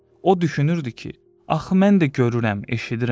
O düşünürdü ki, axı mən də görürəm, eşidirəm.